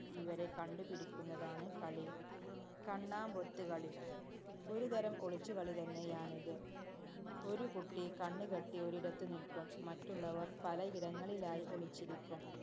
ഇവരെ കണ്ടുപിടിക്കുന്നതാണ് കളി. കണ്ണാമ്പൊത്ത് കളി. ഒരുതരം ഒളിച്ചുകളിതന്നെയാണിത്. ഒരു കുട്ടി കണ്ണ് കെട്ടി ഒരിടത്തു നില്ക്കും. മറ്റുള്ളവര്‍ പലയിടങ്ങളിലായി ഒളിച്ചിരിക്കും.